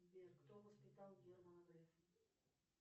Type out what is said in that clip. сбер кто воспитал германа грефа